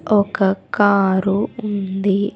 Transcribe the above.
ఒక కారు ఉంది.